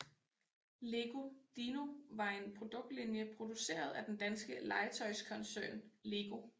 Lego Dino var en produktlinje produceret af den danske legetøjskoncern LEGO